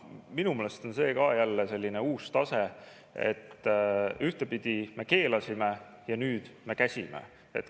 Minu meelest on see ka selline uus tase, et ühtpidi me keelasime ja nüüd me käsime.